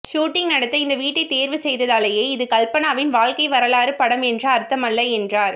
shooting நடத்த இந்த வீட்டை தேர்வு செய்ததா லேயே இது கல்பனாவின் வாழ்க்கை வரலாறு படம் என்று அர்த்தமல்ல என்றார்